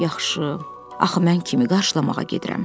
yaxşı, axı mən kimi qarşılamağa gedirəm?